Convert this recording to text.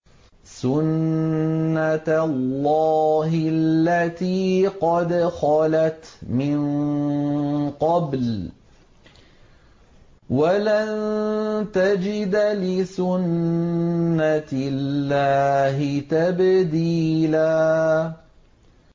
سُنَّةَ اللَّهِ الَّتِي قَدْ خَلَتْ مِن قَبْلُ ۖ وَلَن تَجِدَ لِسُنَّةِ اللَّهِ تَبْدِيلًا